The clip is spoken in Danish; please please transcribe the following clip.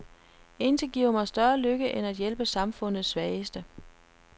Intet giver mig større lykke end at hjælpe samfundets svageste.